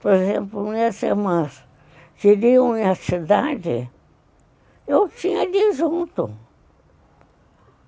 Por exemplo, minhas irmãs que viviam na cidade, eu tinha de ir junto.